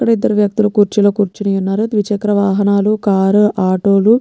ఇద్దరు వ్యక్తులు కుర్చీలో కుర్చొని ఉన్నారుద్విచక్ర వాహనాలు కార్ ఉ ఆటో లు.